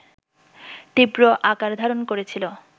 তীব্র আকার ধারণ করেছিল